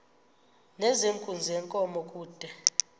nezenkunzi yenkomo kude